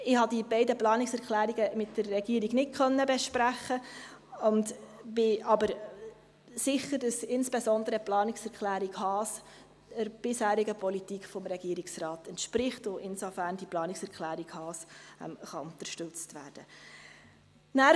Ich konnte die beiden Planungserklärungen mit der Regierung nicht besprechen, bin aber sicher, dass insbesondere die Planungserklärung Haas der bisherigen Politik des Regierungsrates entspricht und dass die Planungserklärung Haas insofern unterstützt werden kann.